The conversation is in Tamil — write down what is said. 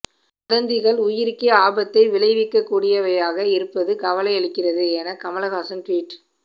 வதந்திகள் உயிருக்கே ஆபத்தை விளைவிக்கக்கூடியவையாக இருப்பது கவலையளிக்கிறது என கமல்ஹாசன் ட்வீட்